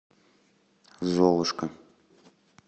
золушка